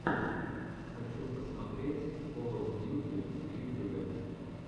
хочу посмотреть кол оф дьюти в ютюбе